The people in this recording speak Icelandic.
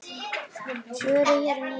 Svo eru hér ný andlit.